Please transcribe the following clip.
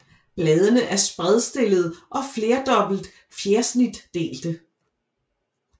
Bladene er spredstillede og flerdobbelt fjersnitdelte